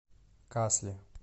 касли